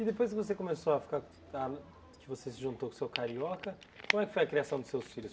E depois que você começou a ficar, ah que você se juntou com o seu carioca, como é que foi a criação dos seus filhos?